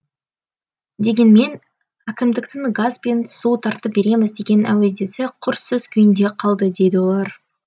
дегенмен әкімдіктің газ бен су тартып береміз деген әудесі құр сөз күйінде қалды дейді олар